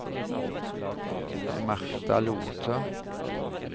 Martha Lothe